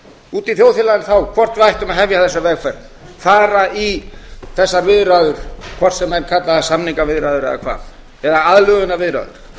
úti í þjóðfélaginu þá hvort við ættum að hefja þessa vegferð fara í þessar viðræður hvort sem menn kalla það samningaviðræður eða hvað eða aðlögunarviðræður